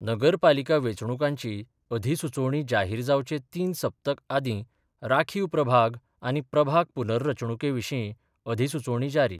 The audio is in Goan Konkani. नगरपालिका वेंचणूकांचीं अधिसुचोवणी जाहीर जावचे तीन सप्तक आदीं राखीव प्रभाग आनी प्रभाग पुनर्रचणुकेविशीं अधिसुचोवणी जारी